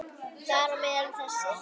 Þar á meðal þessir